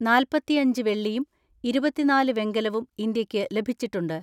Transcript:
നാൽപതിഅഞ്ച് വെള്ളിയും ഇരുപത്തിനാല് വെങ്കലവും ഇന്ത്യയ്ക്ക് ലഭിച്ചിട്ടുണ്ട്.